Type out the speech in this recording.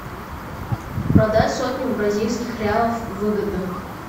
продать сотню бразильских реалов выгодно